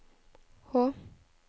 H